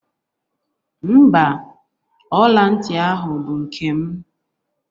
Mba, ọla ntị ahụ bụ nkem